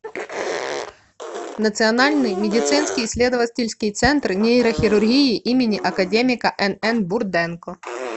национальный медицинский исследовательский центр нейрохирургии им академика нн бурденко